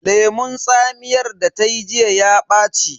Lemun tsamiyar da ta yi jiya ya ɓaci.